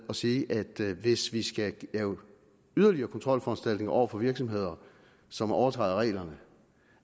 og sige at hvis vi skal lave yderligere kontrolforanstaltninger over for virksomheder som overtræder reglerne